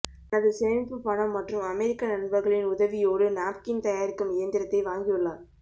தனது சேமிப்பு பணம் மற்றும் அமெரிக்க நண்பர்களின் உதவியோடு நாப்கின் தயாரிக்கும் இயந்திரத்தை வாங்கியுள்ளார்